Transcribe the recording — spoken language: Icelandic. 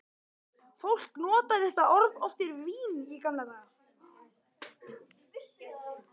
Fólk notaði þetta orð oft yfir vin í gamla daga.